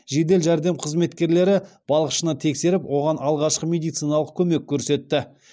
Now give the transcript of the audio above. жедел жәрдем қызметкерлері балықшыны тексеріп оған алғашқы медициналық көмек көрсетті